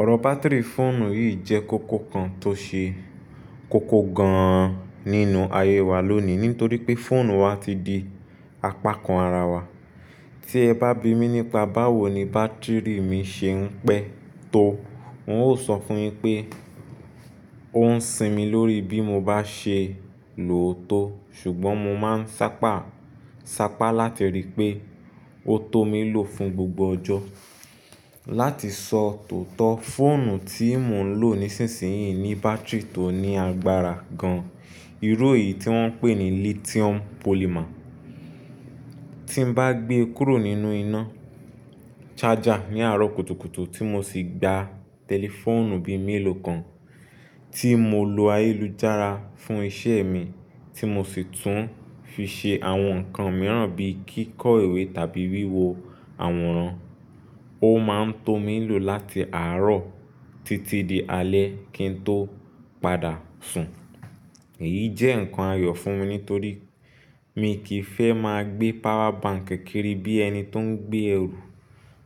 Ọ̀rọ̀ bátìrì fóònù yìí jẹ́ kókó kan tó ṣe kókó gan-an nínú ayé wa lónìí, nítorí pé fóònù wa ti di apákan ara wa. Tí ẹ bá bi mí nípa báwo ni bátìrì mi ṣe ń pẹ́ tó, n óò sọ fún un pé ó ń sinmi lórí bí mo bá ṣe lòó tó. Ṣùgbọ́n mo máa ń sápá, sápá láti rí i pé ó tó mi lò fún gbogbo ọjọ́. Láti sọ tòótọ́, fóònù tí mò ń lò nísinsìnyí ní bátìrì tó ní agbára gan-an, irú èyí tí wọ́n ń pè ní lithium polymer. Tí n bá gbé e kúrò nínú iná ṣájà ní àárọ̀ kùtùkùtù tí mo sì gba tẹlifóònù bí i mélòó kan tí mo lo ayélujára fún iṣẹ́ mi tí mo sì tún fi ṣe àwọn nǹkan mìíràn bí kíkọ́ ìwé tàbí wíwo àwòrán, ó máa ń tó mi lò láti àárọ̀ títí di alẹ́ kí n tó padà sùn. Èyí jẹ́ nǹkan ayọ̀ fún mi nítorí mi kì í fẹ́ máa gbé power bank kékeré bí ẹni tó ń gbé ẹrù.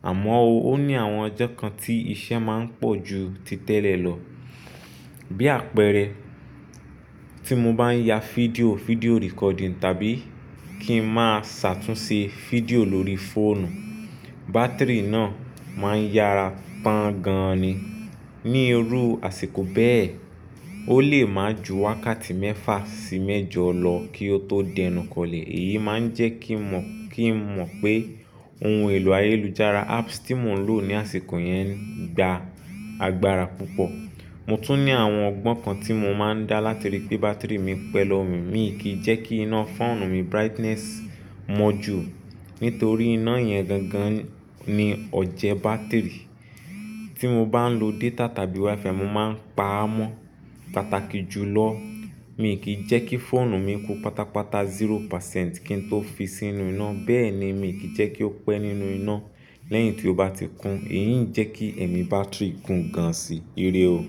Àmọ́ ó ní àwọn ọjọ́ kan tí iṣẹ́ máa ń pọ̀ ju títẹ̀lẹ̀ lọ. Bí àpẹẹrẹ tí mo bá ń ya fídíò, fídíò recording tàbí kí ń máa ṣàtúnṣe fídíò lórí fóònù, bátìrì náà máa ń yára tàn gan-an ni. Ní irú àsìkò bẹ́ẹ̀, ó lè máa ju wákàtí mẹ́fà sí mẹ́jọ lọ kí ó tó dẹnukọlẹ̀. Èyí máa ń jẹ́ kí mà, kí ń mọ̀ pé ohun èlò ayélujára, apps tí mò ń lò ní àsìkò yẹn ń gba agbára púpọ̀. Mo tún ní àwọn ọgbọ́n kan tí mo máa ń dá láti rí i pé bátìrì mi pẹ́ lọ̀wò mí. Mi kì í jẹ́ kí iná fóònù mi, brightness mọ́ ju nítorí iná yẹn gangan ni ọ̀jẹ bátìrì. Tí mo bá ń lo data tàbí Wi-Fi, mo máa ń pa á mọ́ pàtàkì ju lọ. Mi kì í jẹ́ kí fóònù mi kú pátápátá zero percent kí n tó fi sínú iná. Bẹ́ẹ̀ ni mi kì í jẹ́ kí ó pẹ́ nínú iná lẹ́yìn tí ó bá ti kún. Èyí ń jẹ́ kí ẹ̀mí bátìrì kún gan-an sí ire o.